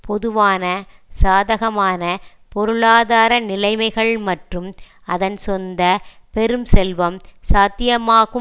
பொதுவான சாதகமான பொருளாதார நிலைமைகள் மற்றும் அதன் சொந்த பெரும் செல்வம் சாத்தியமாகும்